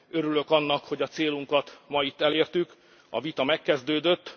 Örülök annak, hogy a célunkat ma itt elértük a vita megkezdődött.